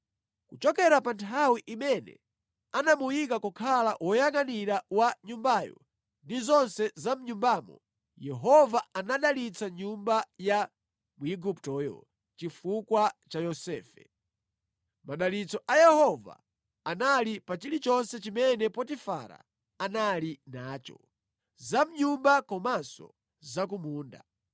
Kuchokera pa nthawi imene anamuyika kukhala woyangʼanira wa nyumbayo ndi zonse za mʼnyumbamo, Yehova anadalitsa nyumba ya Mwiguptoyo chifukwa cha Yosefe. Madalitso a Yehova anali pa chilichonse chimene Potifara anali nacho, za mʼnyumba komanso za ku munda.